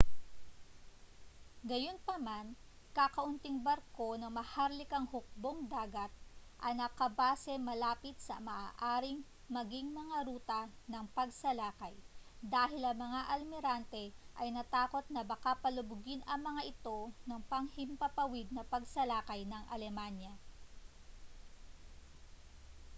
gayunpaman kakaunting barko ng maharlikang hukbong-dagat ang nakabase malapit sa maaaring maging mga ruta ng pagsalakay dahil ang mga almirante ay natakot na baka palubugin ang mga ito ng panghimpapawid na pagsalakay ng alemanya